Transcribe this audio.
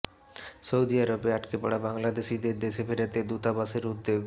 Saudi আরবে আটকে পড়া বাংলাদেশিদের দেশে ফেরাতে দূতাবাসের উদ্যোগ